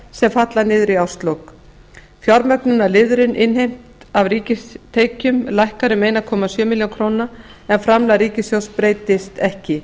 sem falla niður í árslok fjármögnunarliðurinn innheimt af ríkistekjum lækkar um einn komma sjö milljónir króna en framlag ríkissjóðs breytist ekki